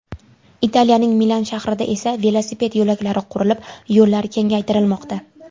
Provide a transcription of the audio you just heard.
Italiyaning Milan shahrida esa velosiped yo‘laklari qurilib, yo‘llar kengaytirilmoqda.